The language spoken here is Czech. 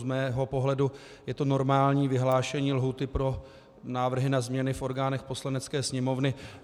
Z mého pohledu je to normální vyhlášení lhůty pro návrhy na změny v orgánech Poslanecké sněmovny.